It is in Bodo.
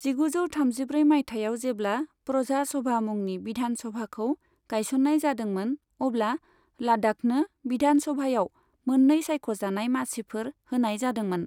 जिगुजौ थामजिब्रै मायथाइआव जेब्ला प्रजा सभा मुंनि विधान सभाखौ गायसन्नाय जादोंमोन, अब्ला लाद्दाखनो विधान सभायाव मोननै सायख'जानाय मासिफोर होनाय जादोंमोन।